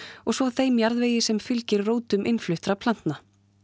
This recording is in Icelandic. og svo þeim jarðvegi sem fylgir rótum innfluttra plantna